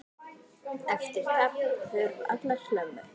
Eftir tapið hurfu allar hömlur.